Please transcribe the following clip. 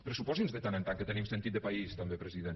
pressuposi’ns de tant en tant que tenim sentit de país també president